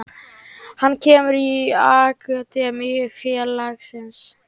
Hann kemur úr akademíu félagsins.